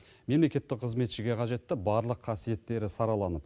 мемлекеттік қызметшіге қажетті барлық қасиеттері сараланып